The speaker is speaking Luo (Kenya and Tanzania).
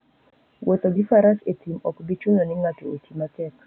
Wuotho gi faras e thim ok bi chuno ni ng'ato oti matek.